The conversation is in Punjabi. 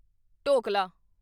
ਢੋਕਲਾ